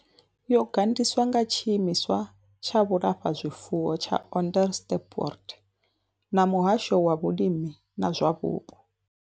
Yo gandiswa nga tshiimiswa tsha vhulafhazwifuwo tsha Onderstepoort na muhasho wa vhulimi na zwa vhupo.